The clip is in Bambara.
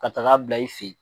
Ka taaga bila i fɛ ye.